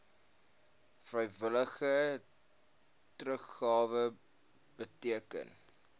vrywillige teruggawe bekend